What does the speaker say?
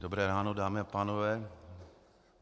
Dobré ráno, dámy a pánové.